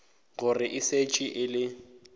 gore e šetše e le